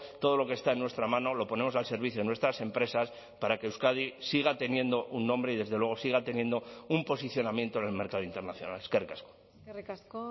todo lo que está en nuestra mano lo ponemos al servicio de nuestras empresas para que euskadi siga teniendo un nombre y desde luego siga teniendo un posicionamiento en el mercado internacional eskerrik asko eskerrik asko